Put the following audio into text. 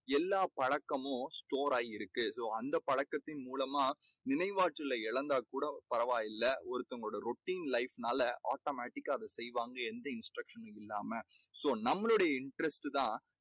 எல்லா பழக்கமும் store ஆகி இருக்கும் அந்த பழக்கத்தின் மூலமா நினைவாற்றலை இழந்தா கூட பரவாயில்ல ஒருத்தங்களோட routine life னால automatic கா அதை செய்வாங்க. எந்த instruction னும் இல்லாம so நம்மளுடைய interest தான்